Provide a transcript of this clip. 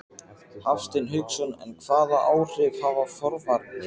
Hafsteinn Hauksson: En hvaða áhrif hafa forvarnir?